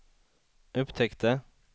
upptäckte